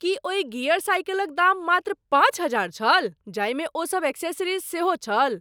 की ओहि गियर साइकिलक दाम मात्र पाँच हजार छल जाहिमे ओसब एक्सेसरीज सेहो छल?